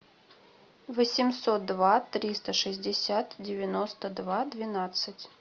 восемьсот два триста шестьдесят девяносто два двенадцать